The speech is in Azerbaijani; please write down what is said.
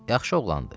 Yaxşı oğlandı.